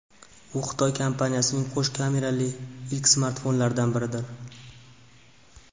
U Xitoy kompaniyasining qo‘sh kamerali ilk smartfonlaridan biridir.